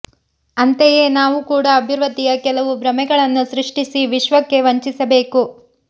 ಅಂತೆಯೇ ನಾವು ಕೂಡ ಅಭಿವೃದ್ಧಿಯ ಕೆಲವು ಭ್ರಮೆಗಳನ್ನು ಸೃಷ್ಟಿಸಿ ವಿಶ್ವಕ್ಕೆ ವಂಚಿಸಬೇಕು